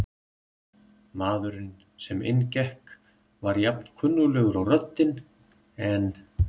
Maðurinn sem inn gekk var jafn kunnuglegur og röddin, en